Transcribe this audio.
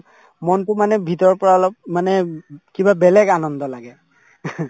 মনতো মানে ভিতৰৰ পৰা অলপ মানে উম কিবা বেলেগ আনন্দ লাগে